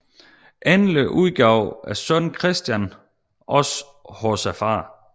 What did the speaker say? Endelig udgav sønnen Kristian også hos faderen